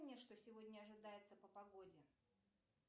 что сегодня ожидается по погоде